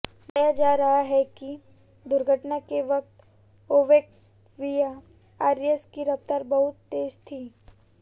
बताया जा रहा है कि दुर्घटना के वक्त ओक्टेविया आरएस की रफ्तार बहुत तेज थी